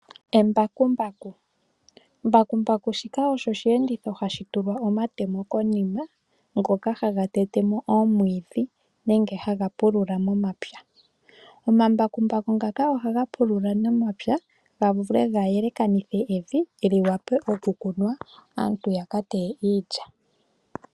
Embakumbaku, mbakumbaku shika osho oshiyenditho hashi tulwa omatemo konima ngoka haga tete mo oomwiidhi nenge haga pulula momapya. Omambakumbaku ngaka ohaga pulula momapya ga vule ga yelekanithe evi lyi wape okukunwa, aantu yaka teye iilya.